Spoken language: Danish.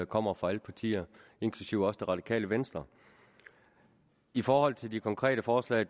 kommer fra alle partier inklusive det radikale venstre i forhold til de konkrete forslag